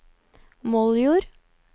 Moldjord